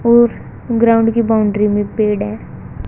और ग्राउंड की बाउंड्री में पेड़ है।